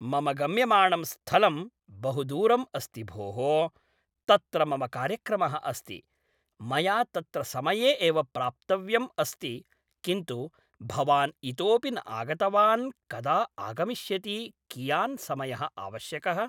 मम गम्यमाणं स्थलं बहु दूरम् अस्ति भोः, तत्र मम कार्यक्रमः अस्ति, मया तत्र समये एव प्राप्तव्यम् अस्ति किन्तु भवान् इतोऽपि न आगतवान् कदा आगमिष्यति कियान् समयः आवश्यकः